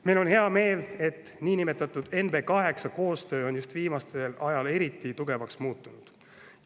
Meil on hea meel, et niinimetatud NB8 koostöö on viimasel ajal eriti tugevaks muutunud.